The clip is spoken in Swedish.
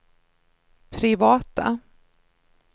privata